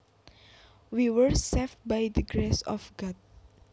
We were saved by the grace of God